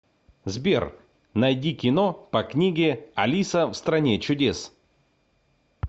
сбер наиди кино по книге алиса в стране чудес